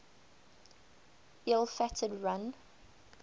ill fated run